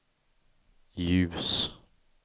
ljus